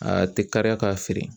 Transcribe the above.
A tɛ kariya k'a feere.